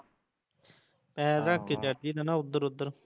ਪੈਰ ਰੱਖਕੇ ਚੜ ਜਾਈਦਾ ਨਾ ਓਥੋਂ ਓਧਰ